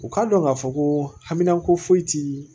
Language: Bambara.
U k'a dɔn k'a fɔ ko hamko foyi ti